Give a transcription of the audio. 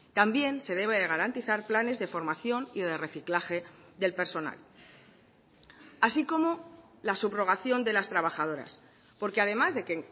también se debe de garantizar planes de formación y de reciclaje del personal así como la subrogación de las trabajadoras porque además de que